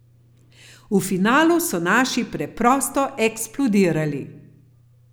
V finalu so naši preprosto eksplodirali.